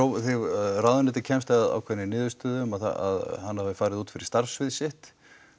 ráðuneytið kemst að ákveðinni niðurstöðu að hann hafi farið út fyrir starfssvið sitt